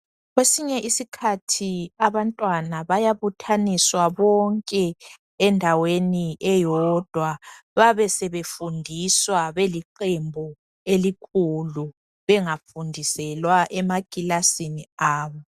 Kwesinye isikhathi abantwana bayabuthaniswa bonke endaweni eyodwa babesebefundiswa beliqembu elikhulu bengafundiselwa emakilasini abo